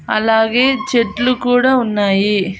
అలాగే చెట్లు కూడా ఉన్నాయి.